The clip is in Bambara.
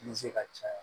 Ni se ka caya